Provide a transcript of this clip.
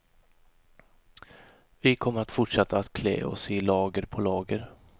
Vi kommer att fortsätta att klä oss i lager på lager.